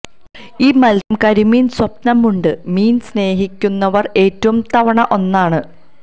ഈ മത്സ്യം കരിമീൻ സ്വപ്നമുണ്ട് മീൻ സ്നേഹിക്കുന്നവർ ഏറ്റവും തവണ ഒന്നാണ്